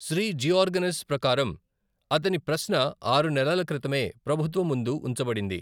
శ్రీ జిఓర్గనిస్ ప్రకారం, అతని ప్రశ్న ఆరు నెలల క్రితమే ప్రభుత్వం ముందు ఉంచబడింది.